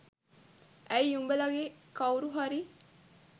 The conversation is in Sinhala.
ඇයි උඹලගෙ කවුරු හරි